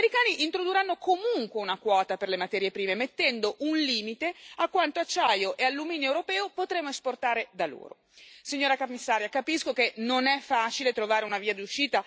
Come se non bastasse, anche se trovassimo un accordo, gli americani introdurranno comunque una quota per le materie prime, mettendo un limite a quanto acciaio e alluminio europeo potremo esportare da loro.